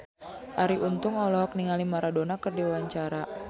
Arie Untung olohok ningali Maradona keur diwawancara